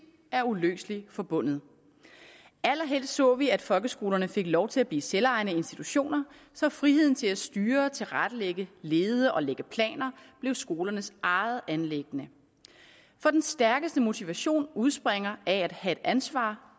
er uløseligt forbundet allerhelst så vi at folkeskolerne fik lov til at blive selvejende institutioner så friheden til at styre og tilrettelægge lede og lægge planer blev skolernes eget anliggende for den stærkeste motivation udspringer af at have et ansvar